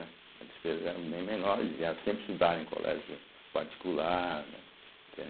As despesas eram bem menores, e elas sempre estudaram em colégio particular, né entende.